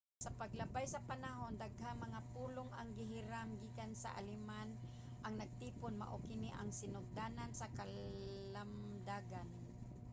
sa paglabay sa panahon daghang mga pulong ang gihiram gikan sa aleman ang natipon. mao kini ang sinugdanan sa kalamdagan